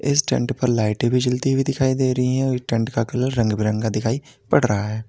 इस टेंट पर लाइटें भी जलती हुई दिखाई दे रही है और टेंट का कलर रंग बिरंगा दिखाई पड़ रहा है।